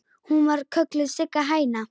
Hún var kölluð Sigga hæna.